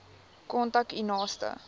kontak u naaste